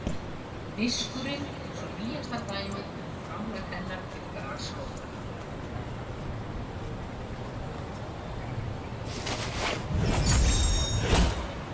Diskurinn er svo nýjasta dæmið um framlag hennar til grasrótarinnar.